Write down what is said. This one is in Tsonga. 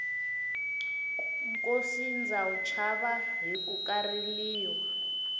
nkosi ndza wu chava hikuva ka riliwa